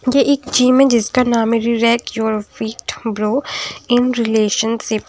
ये एक जिम है जिसका नाम hairy rack your feet bro in relationship.